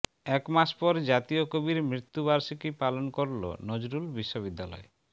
এক মাস পর জাতীয় কবির মৃত্যুবার্ষিকী পালন করলো নজরুল বিশ্ববিদ্যালয়